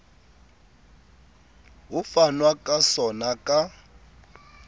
ho fanwa ka sona ka